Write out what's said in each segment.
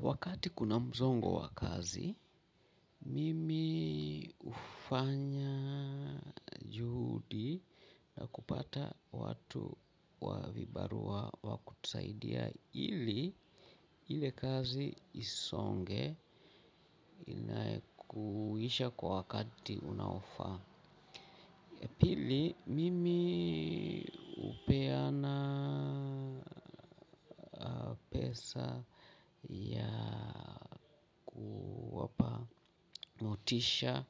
Wakati kuna mzongo wa kazi. Mimi ufanya juhudi na kupata watu wa vibarua wa kutusaidia ili ile kazi isonge inaekuisha kwa wakati unaofaa. Pili mimi upeana pesa ya kuwapa motisha.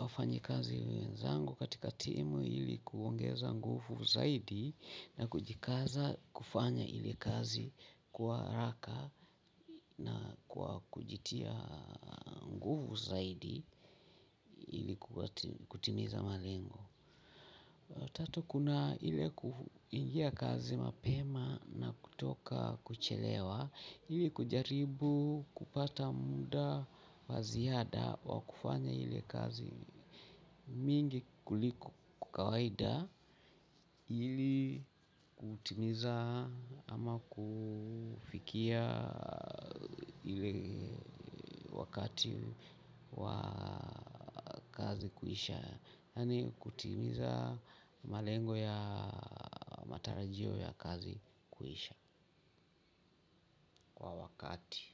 Wafanyikazi wenzangu katika timu ili kuongeza nguvu zaidi na kujikaza kufanya ile kazi kwa haraka na kwa kujitia nguvu zaidi ili kutimiza malengo. Tatu kuna ili kuingia kazi mapema kutoka kuchelewa ili kujaribu kupata muda wa ziada wa kufanya ile kazi mingi kuliko ku kawaida ili kutimiza ama kufikia ile wakati wa kazi kuisha. Yaani kutimiza malengo ya matarajio ya kazi kuisha kwa wakati.